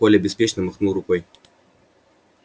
коля беспечно махнул рукой